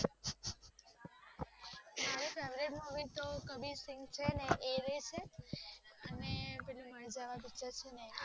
favourite movie તો કબીર સિંહ છે ને છે અને પેલું માર્જવા પીચર ચેને